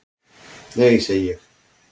"""Nei, segi ég."""